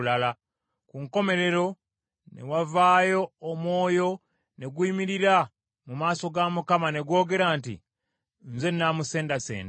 Ku nkomerero ne wavaayo omwoyo ne guyimirira mu maaso ga Mukama ne gwogera nti, ‘Nze nnaamusendasenda.’